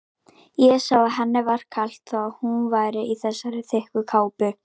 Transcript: Ég sá að henni var kalt þó að hún væri í þessari þykku kápu.